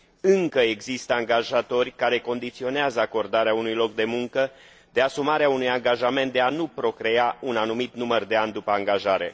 Încă există angajatori care condiționează acordarea unui loc de muncă de asumarea unui angajament de a nu procrea timp de un anumit număr de ani după angajare.